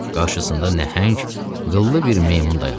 Qarşısında nəhəng, qıllı bir meymun dayanmışdı.